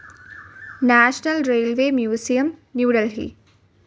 national Railways Museum, New Delhi